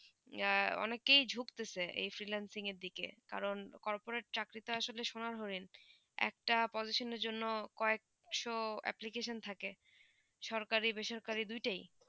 অনেক ই তো ঝুঁকতে চে এই হম freelancing দিকে কারণ corporate চাকরি তা আখন সোনার হরিণ একটা পদচিন জন কয়ে একশো এপ্লিকেশন থাকে সরকারি বেসরকারি দুই তা ই